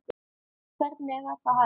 Hvernig var það hægt?